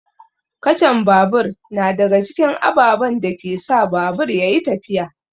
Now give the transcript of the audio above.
Kacan babur na daga cikin ababen da ke sa babur ya yi tafiya.